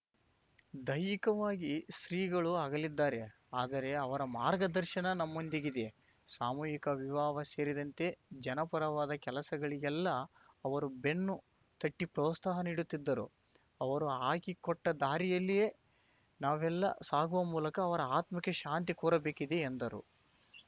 ದೈಹಿಕವಾಗಿ ಶ್ರೀಗಳು ಅಗಲಿದ್ದಾರೆ ಆದರೆ ಅವರ ಮಾರ್ಗದರ್ಶನ ನಮ್ಮೊಂದಿಗಿದೆ ಸಾಮೂಹಿಕ ವಿವಾಹ ಸೇರಿದಂತೆ ಜನಪರವಾದ ಕೆಲಸಗಳಿಗೆಲ್ಲ ಅವರು ಬೆನ್ನು ತಟ್ಟಿಪ್ರೋತ್ಸಾಹ ನೀಡುತ್ತಿದ್ದರು ಅವರು ಹಾಕಿಕೊಟ್ಟದಾರಿಯಲ್ಲಿಯೇ ನಾವೆಲ್ಲ ಸಾಗುವ ಮೂಲಕ ಅವರ ಆತ್ಮಕ್ಕೆ ಶಾಂತಿ ಕೋರಬೇಕಿದೆ ಎಂದರು